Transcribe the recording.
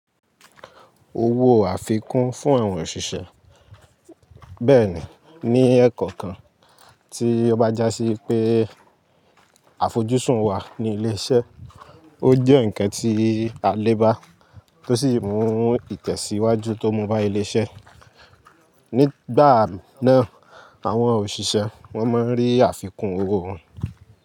Owó àfikún fún àwọn òṣìṣẹ́. Bẹ́ẹ̀ ni, ní ẹ̀ẹ̀kọ̀kan tí ó bá já sí i pé àfojúsùn wa ni ilé iṣẹ́, ó jẹ́ ǹkan tí a lè bá, tó sì mú ìtẹ̀síwájú tó mú bá ilé iṣẹ́. Nígbà náà, àwọn òṣìṣẹ́ wọ́n máa rí àfikún owó wọn.